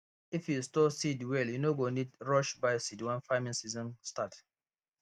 if you store seed well you no go need rush buy seed when farming season start